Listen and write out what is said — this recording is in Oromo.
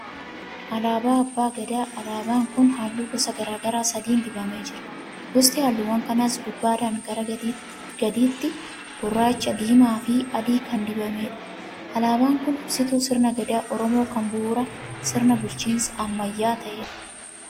Alaabaa abbaa gadaa. Alaabaan kun halluu gosa garaa garaa sadiin dibamee jira. Gosti halluuwwan kanaas gubbaadhaa gara gadiitti gurraacha, diimaa fi adiin kan dibameerudha. Alaabaan kun ibsituu sirna gadaa Oromoo kan bu'uura sirna bulchiinsa ammayyaa ta'eedha.